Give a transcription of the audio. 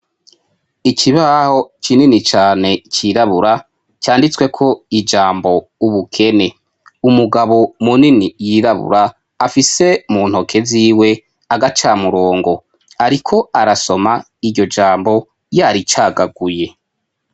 ikibaho kinini cyane cyirabura cyanditswe ko ijambo ubukene umugabo munini yirabura afise mu ntoke ziwe agacamurongo ariko arasoma iryo jambo yari cyagaguye